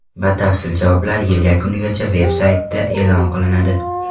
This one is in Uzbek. Batafsil javoblar yil yakunigacha veb-saytida e’lon qilinadi.